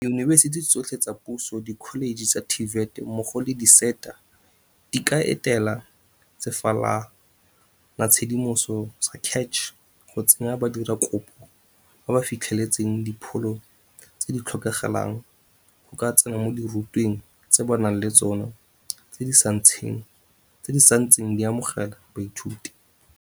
Diyunibesiti tsotlhe tsa puso, dikholeje tsa TVET mmogo le di-SETA di ka etela sefalanatshedimoso sa CACH go tsaya badiradikopo ba ba fitlheletseng dipholo tse di tlhokagalang go ka tsena mo dirutweng tse ba nang le tsona tse di santseng di amogela baithuti.